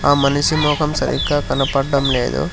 ఆ మనిషి మొఖం సరిగ్గా కనపడడం లేదు.